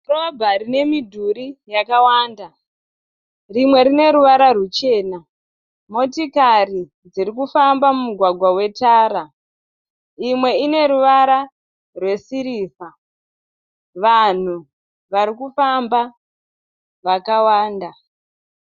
Dhorobha rine midhuri yakawanda. Rimwe rine ruvara ruchena. Motikari dziri kufamba mumugwagwa wetara. Imwe ine ruvara rwesirivha. Vanhu vari kufamba vakawanda.